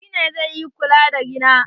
Shi ne zai yi ƙulla da rina.